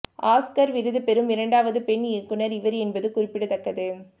Oscar விருது பெறும் இரண்டாவது பெண் இயக்குனர் இவர் என்பது குறிப்பிடத்தக்கது